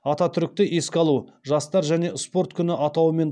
ататүрікті еске алу жастар және спорт күні атауымен